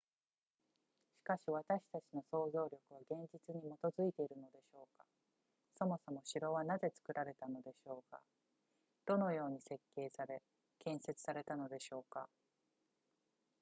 しかし私たちの想像力は現実に基づいているのでしょうかそもそも城はなぜ作られたのでしょうかどのように設計され建設されたのでしょうか